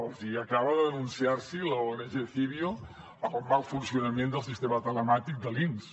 els acaba de denunciar l’ong civio pel mal funcionament del sistema telemàtic de l’inss